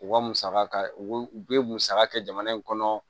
U ka musaka u bɛ musaka kɛ jamana in kɔnɔ